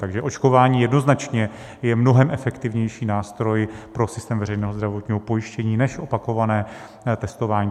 Takže očkování jednoznačně je mnohem efektivnější nástroj pro systém veřejného zdravotního pojištění než opakované testování.